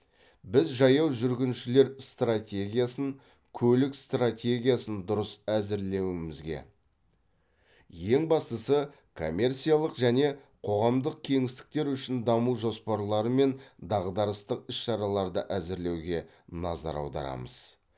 біз жаяу жүргіншілер стратегиясын көлік стратегиясын дұрыс әзірлеуімізге ең бастысы коммерциялық және қоғамдық кеңістіктер үшін даму жоспарлары мен дағдарыстық іс шараларды әзірлеуге назар аударамыз